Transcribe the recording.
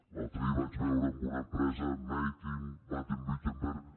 l’altre dia vaig veure en una empresa made in baden württemberg